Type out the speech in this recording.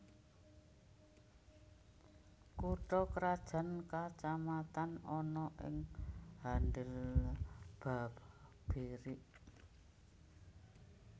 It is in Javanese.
Kutha krajan kacamatan ana ing Handil Babirik